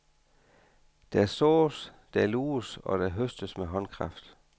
Der sås, der luges og der høstes med håndkraft.